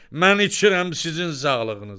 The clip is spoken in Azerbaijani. Mən içirəm sizin sağlığınıza.